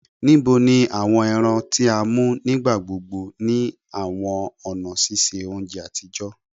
Nibo ni awọn ẹran ti a mu nigbagbogbo ni awọn ọna ṣiṣe ounjẹ atijọ?